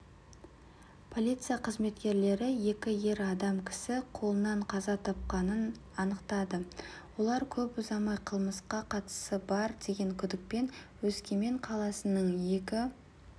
полияция қызметкерлері екі ер адам кісі қолынан қаза тапқанын анықтады олар көп ұзамай қылмысқа қатысы бар деген күдікпен өскемен қаласының екі